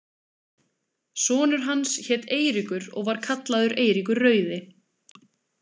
Sonur hans hét Eiríkur og var kallaður Eiríkur rauði.